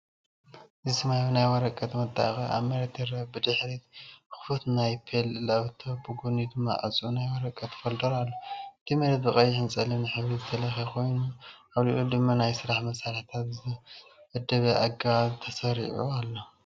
እዚ ሰማያዊ ናይ ወረቐት መጣበቂ ኣብ መሬት ይርአ። ብድሕሪት ክፉት ናይ ዴል ላፕቶፕ ብጎኒ ድማ ዕጹው ናይ ወረቐት ፎልደር ኣሎ። እቲ መሬት ብቐይሕን ጸሊምን ሕብሪ ዝተለኽየ ኮይኑ፡ ኣብ ልዕሊኡ ድማ ናይ ስራሕ መሳርሒታት ብዝተወደበ ኣገባብ ተሰሪዑ ኣሎ።